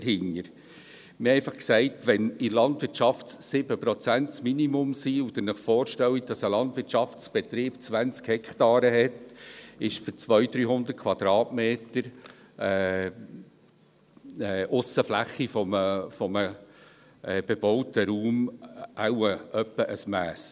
Wir haben einfach gesagt, wenn in der Landwirtschaft 7 Prozent das Minimum sind und Sie sich vorstellen, dass ein Landwirtschaftsbetrieb 20 Hektare hat, ist das für 200, 300 Quadratmeter Aussenfläche eines bebauten Raums wohl ungefähr ein Mass.